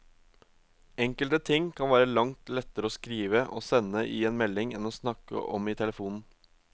Enkelte ting kan være langt lettere å skrive og sende i en melding enn å snakke om i telefonen.